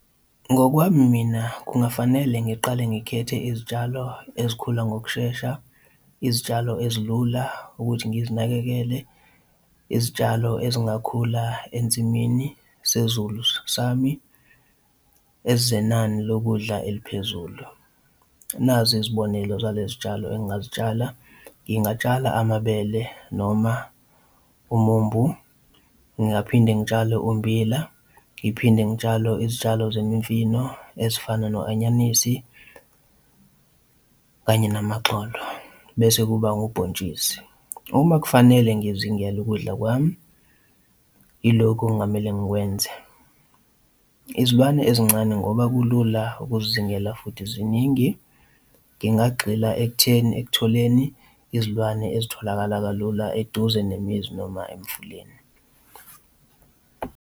Ngokwami mina kungafanele ngiqale ngikhethe izitshalo ezikhula ngokushesha izitshalo ezilula ukuthi ngizinakekele izitshalo ezingakhula ensimini sezulu sami ezenani lokudla eliphezulu. Nazi izibonelo zalezi zitshalo engingazitshala, ngingatshala amabele noma umumbu, ngingaphinde ngitshale umbila, ngiphinde ngitshale izitshalo zemifino ezifana no anyanisi kanye namagxolo, bese kuba ubhontshisi. Uma kufanele ngizingele ukudla kwami, yilokhu okungamele ngikwenze. Izilwane ezincane ngoba kulula ukuzizingela futhi ziningi, ngingagxila ekutheni ekutholeni izilwane ezitholakala kalula eduze nemizi noma emfuleni.